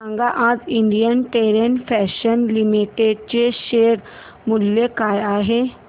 सांगा आज Indian Terrain Fashions Limited चे शेअर मूल्य काय आहे